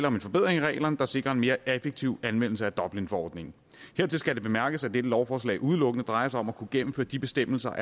om en forbedring af reglerne der sikrer en mere effektiv anvendelse af dublinforordningen hertil skal bemærkes at dette lovforslag udelukkende drejer sig om at kunne gennemføre de bestemmelser